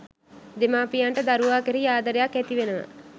දෙමාපියන්ට දරුවා කෙරෙහි ආදරයක් ඇතිවෙනවා